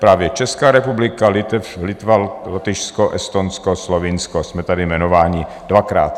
Právě Česká republika, Litva, Lotyšsko, Estonsko, Slovinsko, jsme tady jmenováni dvakrát.